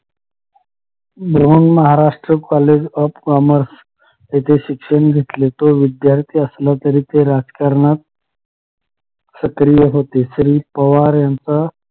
Maharashtra college of commerce इथे शिक्षण घेतले तो विध्यार्थी असला तरी ते राजकारणात सक्रिय होते श्री पवार यांचा